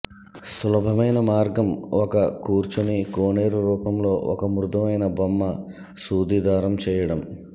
సులభమైన మార్గం ఒక కూర్చొని కోనేరు రూపంలో ఒక మృదువైన బొమ్మ సూది దారం చేయడం